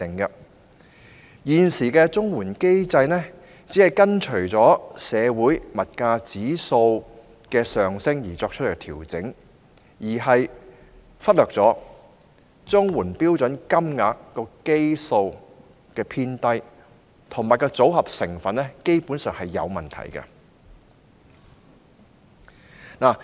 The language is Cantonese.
現時的綜援機制只按照社會保障援助物價指數上升而作出調整，忽略了綜援標準金額的基數偏低和組合成分基本上有問題的情況。